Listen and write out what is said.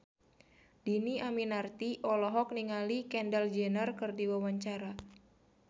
Dhini Aminarti olohok ningali Kendall Jenner keur diwawancara